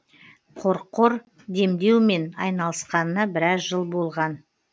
қорқор демдеумен айналысқанына біраз жыл болған